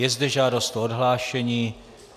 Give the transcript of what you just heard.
Je zde žádost o odhlášení.